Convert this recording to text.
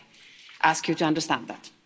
I ask you to understand that.